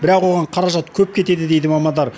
бірақ оған қаражат көп кетеді дейді мамандар